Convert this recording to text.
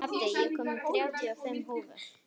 Addi, ég kom með þrjátíu og fimm húfur!